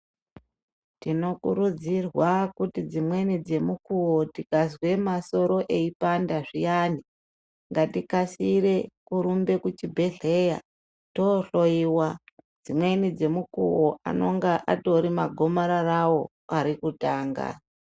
Tinokurudzirwa kuti dzimweni dzemukuwo tikazwe masoro eyipanda zviyani ngatikasire kurumbe kuchibhedhlera toohloyiwa dzimweni dzemukuwo anenge atori magomararawo arikutanga.